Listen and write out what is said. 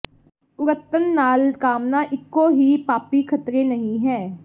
ਕੁੜੱਤਣ ਨਾਲ ਕਾਮਨਾ ਇਕੋ ਹੀ ਪਾਪੀ ਖ਼ਤਰੇ ਨਹੀਂ ਹੈ